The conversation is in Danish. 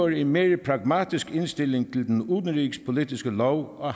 en mere pragmatisk indstilling til den udenrigspolitiske lov og